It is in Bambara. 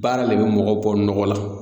Baara le bɛ mɔgɔw bɔ nɔgɔ la.